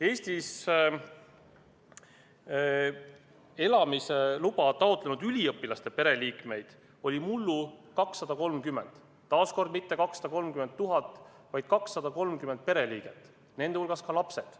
Eestis elamise luba taotlenud üliõpilaste pereliikmeid oli mullu 230, taas kord mitte 230 000, vaid 230 pereliiget, nende hulgas ka lapsed.